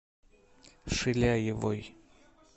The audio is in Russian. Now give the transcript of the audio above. шиляевой